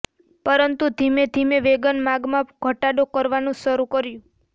પરંતુ ધીમે ધીમે વેગન માગમાં ઘટાડો કરવાનું શરૂ કર્યું